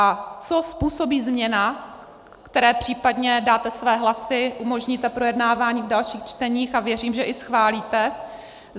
A co způsobí změna, které případně dáte své hlasy, umožníte projednávání v dalších čteních a věřím, že i schválíte?